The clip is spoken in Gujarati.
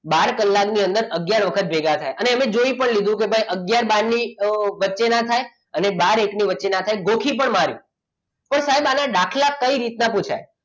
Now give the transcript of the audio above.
બાર કલાકની અંદર આગયાર વખત ભેગા થાય અને જોઈ પણ લીધું કે આગયાર બાર ની વચ્ચે ના થાય અને બાર એકની વચ્ચે ના થાય ગોખી પણ માર્યું પણ સાહેબ આના દાખલા કઈ રીતના પુછાય